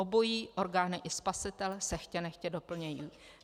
Obojí, orgány i spasitel, se chtě nechtě doplňují.